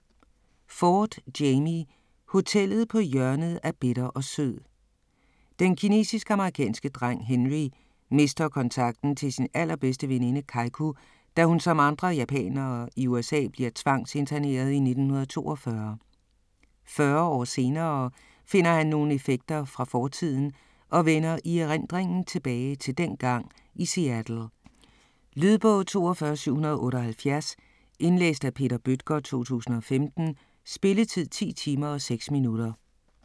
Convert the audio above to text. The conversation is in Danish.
Ford, Jamie: Hotellet på hjørnet af bitter og sød Den kinesisk-amerikanske dreng Henry mister kontakten til sin allerbedste veninde Keiku, da hun som andre japanere i USA bliver tvangsinterneret i 1942. Fyrre år senere finder han nogle effekter fra fortiden og vender i erindringen tilbage til dengang i Seattle. Lydbog 42778 Indlæst af Peter Bøttger, 2015. Spilletid: 10 timer, 6 minutter.